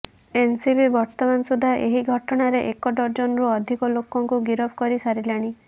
NCB ବର୍ତ୍ତମାନ ସୁଦ୍ଧା ଏହି ଘଟଣାରେ ଏକ ଡର୍ଜନରୁ ଅଧିକ ଲୋକଙ୍କୁ ଗିରଫ କରି ସାରିଲାଣି